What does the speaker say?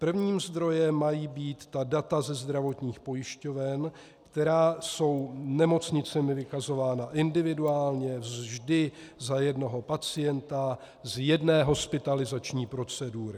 Prvním zdrojem mají být ta data ze zdravotních pojišťoven, která jsou nemocnicemi vykazována individuálně, vždy za jednoho pacienta z jedné hospitalizační procedury.